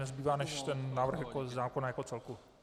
Nezbývá než ten návrh zákona jako celku.